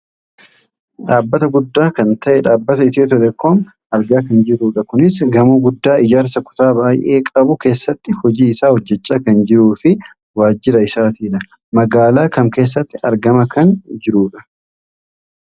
Dhaabata guddaa kan ta'e dhaabbata Itihoo telecom argaa kan jirrudha. Kunis gamoo guddaa ijaarsa kutaa baayyee qabu keessatti hojii isaa hojjachaa kan jiruufi waajira isaatidha. Magaalaa kam keessatti argamaa kan jirudha?